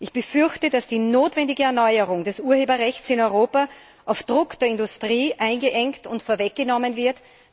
Ich befürchte, dass die notwendige Erneuerung des Urheberrechts in Europa auf Druck der Industrie eingeengt und vorweggenommen wird.